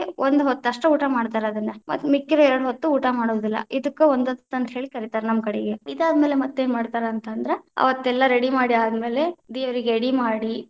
ಒಂದ ಹೊತ್ತ ಅಷ್ಟ ಊಟ ಮಾಡ್ತಾರ ಅದನ್ನ, ಮತ್ತ ಮಿಕ್ಕಿದ ಎರಡ ಹೊತ್ತ ಊಟ ಮಾಡೆಂಗಿಲ್ಲಾ, ಇದಕ್ಕ ಒಂದ ಹೊತ್ತ ಅಂತ ಹೇಳಿ ಕರಿತಾರ ನಮ್ಮ ಕಡೆಗೆ, ಇದಾದ ಮೇಲೆ ಮತ್ತೇನ ಮಾಡ್ತಾರ ಅಂತ ಅಂದ್ರ, ಅವತ್ತೆಲ್ಲಾ ready ಮಾಡಿ ಆದ ಮೇಲೆ ದೇವರಿಗೆ ಎಡಿ ಮಾಡಿ.